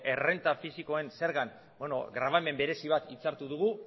errenta fisikoen zergan grabamen berezi bat hitzartu dugu